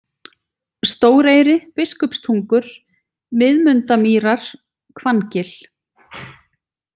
Stóreyri, Biskupstungur, Miðmundamýrar, Hvanngil